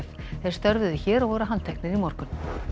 þeir störfuðu hér og voru handteknir í morgun